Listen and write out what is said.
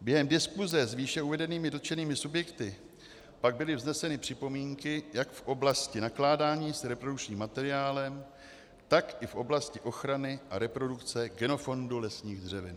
Během diskuse s výše uvedenými dotčenými subjekty pak byly vzneseny připomínky jak v oblasti nakládání s reprodukčním materiálem, tak i v oblasti ochrany a reprodukce genofondu lesních dřevin.